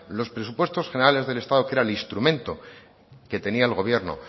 los presupuestos generales del estado que era el instrumento que tenía el gobierno